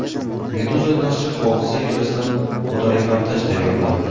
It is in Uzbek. Meduza nashri hodisa yuzasidan fotoreportaj tayyorladi .